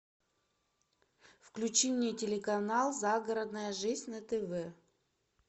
включи мне телеканал загородная жизнь на тв